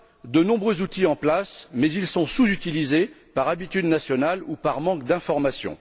De nombreux outils sont déjà en place, mais ils sont sous utilisés par habitude nationale ou par manque d'information.